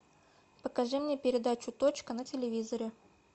покажи мне передачу точка на телевизоре